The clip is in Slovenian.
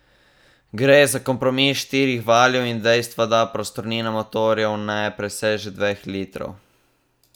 Gre za kompromis štirih valjev in dejstva, da prostornina motorjev ne preseže dveh litrov.